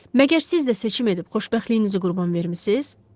Məgər siz də seçim edib xoşbəxtliyinizi qurban vermisiz?